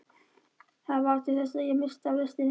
Þetta varð til þess að ég missti af lestinni.